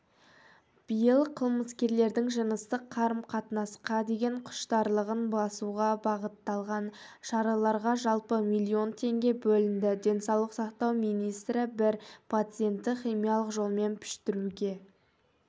биыл қылмыскерлердің жыныстық қарым-қатынасқа деген құштарлығын басуға бағытталған шараларға жалпы миллион теңге бөлінді денсаулық сақтау министрі бір пациентті химиялық жолмен піштіруге